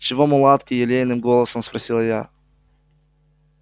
чего мулатки елейным голосом спросила я